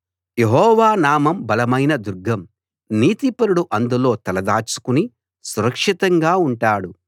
యెహోవా నామం బలమైన దుర్గం నీతిపరుడు అందులో తలదాచుకుని సురక్షితంగా ఉంటాడు